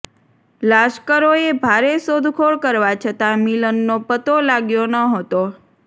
લાશ્કરોએ ભારે શોધખોળ કરવા છતાં મિલનનો પત્તો લાગ્યો ન હતો